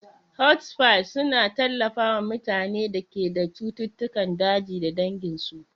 Hospices suna tallafawa mutanen da ke da cututtukan ajali da danginsu.